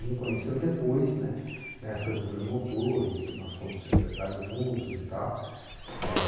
Vim conhecê-lo depois, né, na época do governo Montoro, em que nós fomos secretários juntos e tal. Eh